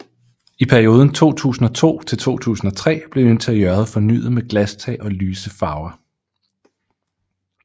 I perioden 2002 til 2003 blev interiøret fornyet med glastag og lyse farver